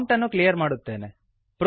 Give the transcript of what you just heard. prompt ಅನ್ನು clear ಮಾಡುತ್ತೇನೆ